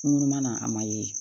Kunun mana a ma ye